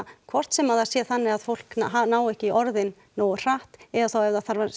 hvort sem það sé þannig að fólk nái ekki í orðin nógu hratt eða